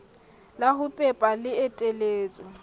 la ho pepa le eteletswe